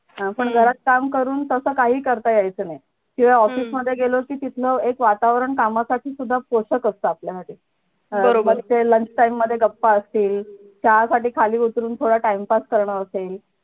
आपण जरा काम करून तस काही करता येयच नाही office मधे गेलो कि तिथंन एक वातावरण कामासाठी सुद्धा टोचत असत आपल्यासाठी मग ते lunch time मधे गप्पा असतील त्यासाठी खाली उतरून थोडं time pass करणं असेल